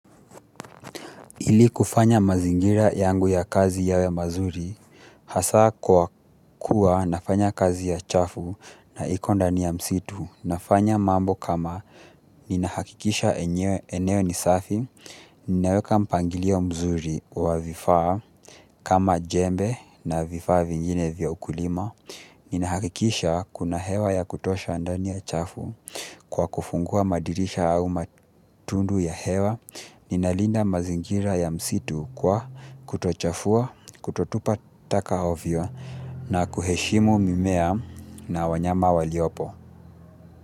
Ili kufanya mazingira yangu ya kazi yawe mazuri, hasa kwa kuwa nafanya kazi ya chafu na iko ndani ya msitu, nafanya mambo kama ninahakikisha eneo ni safi, ninaweka mpangilio mzuri wa vifaa kama jembe na vifaa vingine vya ukulima ninahakikisha kuna hewa ya kutosha ndani ya chafu kwa kufungua madirisha au matundu ya hewa. Ninalinda mazingira ya msitu kwa kutochafua, kutotupa taka ovyo na kuheshimu mimea na wanyama waliopo.